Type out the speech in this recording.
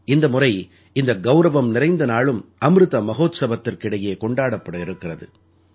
இந்த முறை இந்த கௌரவம் நிறைந்த நாளும் அம்ருத மஹோத்ஸவத்திற்கிடையே கொண்டாடப்பட இருக்கிறது